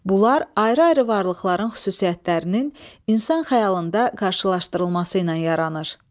Bunlar ayrı-ayrı varlıqların xüsusiyyətlərinin insan xəyalında qarşılaşdırılması ilə yaranır.